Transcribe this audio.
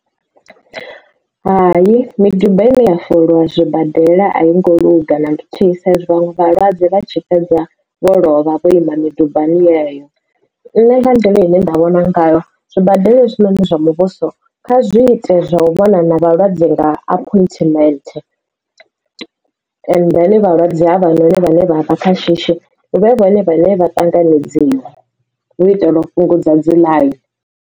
Hai miduba ine ya foliwa zwibadela a yi ngo luga na luthihi sa izwi vhaṅwe vhalwadze vha tshi fhedza vho lovha vho ima midubani yeyo nṋe nga nḓila ine nda vhona ngayo zwibadela hezwinoni zwa muvhuso kha zwi ite zwa u vhona na vhalwadze nga appointment ende then vhalwadze ha vhana vhane vha vha kha shishi huvhe vhone vhane vha ṱanganedziwa u itela u fhungudza dzi ḽaini.